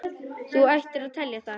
Þú ættir að telja það.